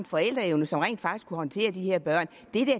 forældre som rent faktisk kunne håndtere de her børn